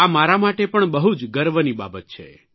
આ મારા માટે પણ બહુ જ ગર્વની બાબત છે